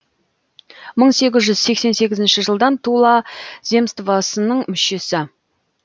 бір мың сегіз жүз сексен сегізінші жылдан тула земствосының мүшесі